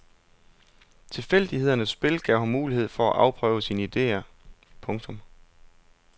Tilfældighedernes spil gav ham mulighed for at afprøve sine ideer. punktum